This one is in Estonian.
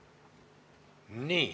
Nii.